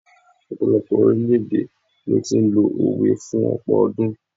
ọpọlọpọ orilẹ ede ni o ti n lo òwe fún ọpọ ọdún